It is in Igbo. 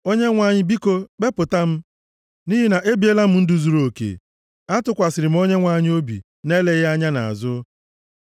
Onyenwe anyị, biko kpepụta m, nʼihi na ebiela m ndụ zuruoke; + 26:1 \+xt 2Ez 20:2; Ilu 20:7\+xt* atụkwasịrị m Onyenwe anyị obi, na-eleghị anya nʼazụ.